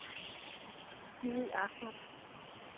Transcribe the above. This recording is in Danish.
Jimmi Ahmad